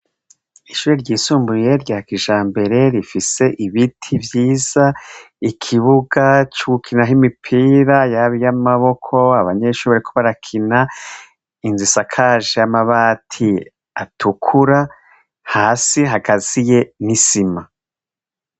Ishuri ryisumbuye rya kija mbere rifise ibiti vyiza ikibuga c'ugukina ho imipira yabi iyo amaboko abanyeshuburi kuba arakina inz isakaje y'amabati atukura hasi hagazi ye n'isima.